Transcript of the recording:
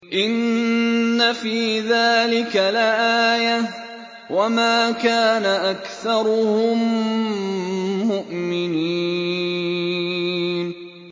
إِنَّ فِي ذَٰلِكَ لَآيَةً ۖ وَمَا كَانَ أَكْثَرُهُم مُّؤْمِنِينَ